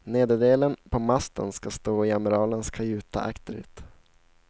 Nederdelen på masten skall stå i amiralens kajuta akterut.